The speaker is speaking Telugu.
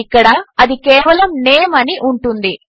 ఇక్కడ అది కేవలము నేమ్ అని ఉంటుంది